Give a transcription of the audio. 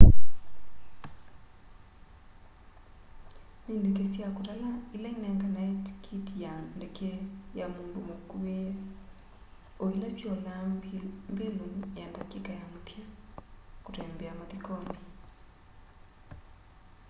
no ndeke sya kutala ila inenganae tikiti ya ndeke ya mundu mukwiie oila siolaa mbilu ya ndatika ya muthya kutembea mathikoni